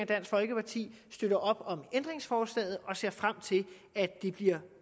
dansk folkeparti støtter op om ændringsforslaget og ser frem til at det bliver